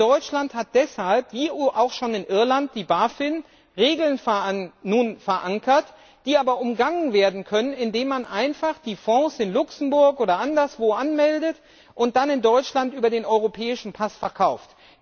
In Deutschland hat deshalb wie es die EU auch schon in Irland getan hat die Bafin nun Regeln verankert, die aber umgangen werden können, indem man einfach die Fonds in Luxemburg oder anderswo anmeldet und dann in Deutschland über den Europäischen Pass verkauft.